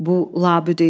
Bu labüd idi.